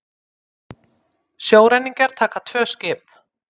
Sjóræningjar taka tvö skip